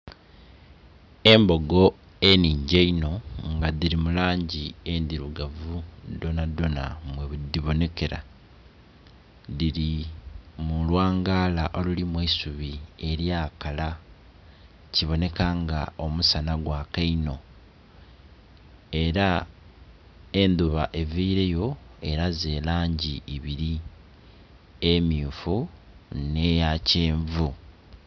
Embogo enhingi eino nga dhiri mulangi endhirugavu dhona dhona bwedhibonekera dhiri mulwangara olulimu eisubi eryakala kiboneka nga omusana gwaaka inho era edhuba evireyo eraze erangi ibiri emmyufu n'eyakenvu.